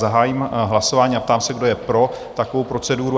Zahájím hlasování a ptám se, kdo je pro takovou proceduru?